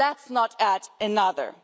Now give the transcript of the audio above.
Let's not add another.